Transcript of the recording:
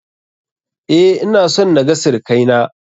Eh, ina son na ga sirakai na.